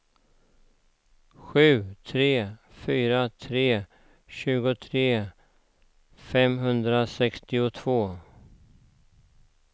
sju tre fyra tre tjugotre femhundrasextiotvå